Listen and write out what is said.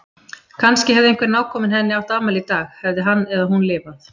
Kannski hefði einhver nákominn henni átt afmæli í dag- hefði hann eða hún lifað.